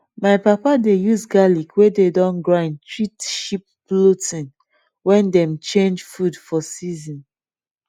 my papa dey use garlic wey don grind treat sheep bloating when dem change food for season